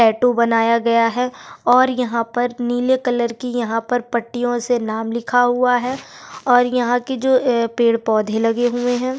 Tattoo बनाया गया है और यहां पर नीले कलर की यहां पर पट्टियों से नाम लिखा हुआ है और यहां के जो पेड़-पौधे लगे हुए हैं।